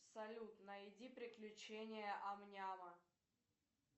салют найди приключения ам няма